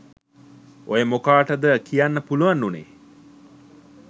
ඔය මොකාටද කියන්න පුළුවන් උනේ